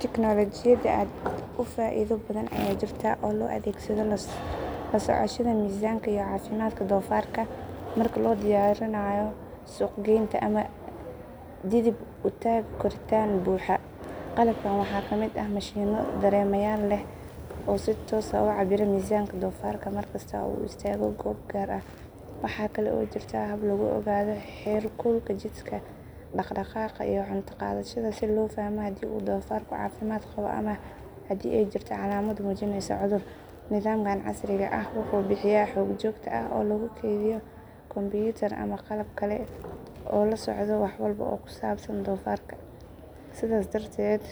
Tignoolajiyada aad u faa’iido badan ayaa jirta oo loo adeegsado la socoshada miisaanka iyo caafimaadka doofaarka marka loo diyaarinayo suuq geynta ama dhidib u taagga koritaan buuxa. Qalabkan waxaa ka mid ah mashiinno dareemayaal leh oo si toos ah u cabbira miisaanka doofaarka mar kasta oo uu istaago goob gaar ah. Waxaa kale oo jirta hab lagu ogaado heerkulka jidhka, dhaq-dhaqaaqa, iyo cunto qaadashada si loo fahmo haddii uu doofaarku caafimaad qabo ama haddii ay jirto calaamad muujinaysa cudur. Nidaamkan casriga ah wuxuu bixiyaa xog joogto ah oo lagu keydiyo kombuyuutar ama qalab kale oo la socda wax walba oo ku saabsan doofaarka. Sidaas darteed,